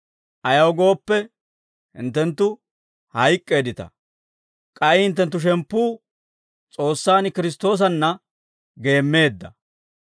Ayaw gooppe, hinttenttu hayk'k'eeddita; k'ay hinttenttu shemppuu S'oossaan Kiristtoosanna geemmeedda.